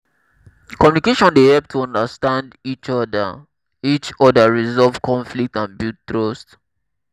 communication dey help to understand each oda each oda resolve conflicts and build trust.